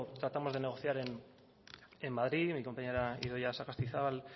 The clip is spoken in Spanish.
tratamos de negociar en madrid mi compañera idoia sagastizabal